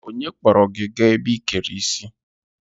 Onye kpọrọ gị gaa ebe ị kere isi?